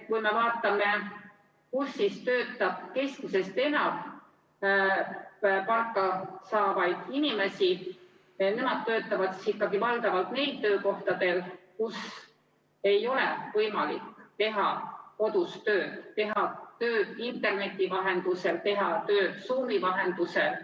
Kui me vaatame, kus töötab keskmisest enam palgasaajaid, siis nemad töötavad ikkagi valdavalt neil töökohtadel, kus ei ole võimalik teha tööd kodust, teha tööd interneti vahendusel, teha tööd Zoomi vahendusel.